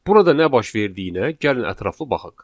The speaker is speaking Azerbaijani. Burada nə baş verdiyinə gəlin ətraflı baxaq.